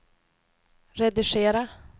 redigera